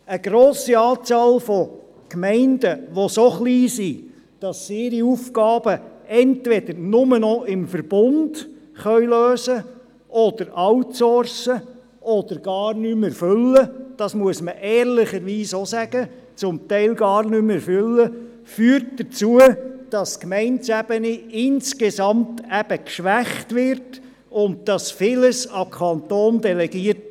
Bei einer grossen Anzahl von Gemeinden, die so klein sind, dass sie ihre Aufgaben entweder nur noch im Verbund lösen können, sie outsourcen müssen oder sie gar nicht mehr erfüllen können, wird die Gemeindeebene geschwächt, und vieles wird an den Kanton delegiert.